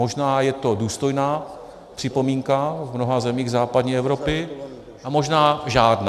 Možná je to důstojná připomínka v mnoha zemích západní Evropy, a možná žádná.